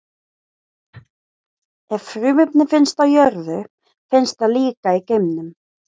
Ef frumefni finnst á jörðu, finnst það líka í geimnum.